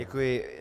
Děkuji.